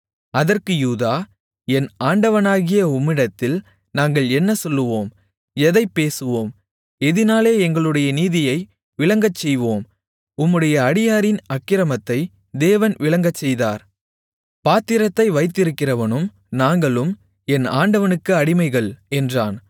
அதற்கு யூதா என் ஆண்டவனாகிய உம்மிடத்தில் நாங்கள் என்ன சொல்லுவோம் எதைப் பேசுவோம் எதினாலே எங்களுடைய நீதியை விளங்கச்செய்வோம் உம்முடைய அடியாரின் அக்கிரமத்தை தேவன் விளங்கச்செய்தார் பாத்திரத்தை வைத்திருக்கிறவனும் நாங்களும் என் ஆண்டவனுக்கு அடிமைகள் என்றான்